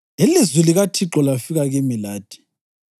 Ilizwi likaThixo lafika kimi lathi: